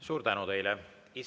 Suur tänu teile!